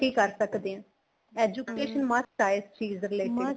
ਕਰ ਸਕਦੇ ਹਾਂ education must ਆ ਇਸ ਚੀਜ਼ ਲਈ